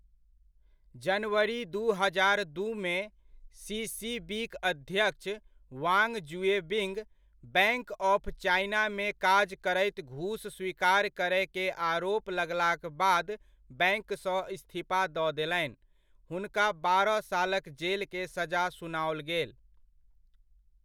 जनवरी दू हजार दूमे, सीसीबी'क अध्यक्ष वाङ्ग ज़ुएबिङ्ग बैङ्क ऑफ चाइनामे काज करैत घूस स्वीकार करय के आरोप लगलाक बाद बैङ्क सँ इस्तीफा दऽ देलनि हुनका बारह सालक जेल के सजा सुनाओल गेल।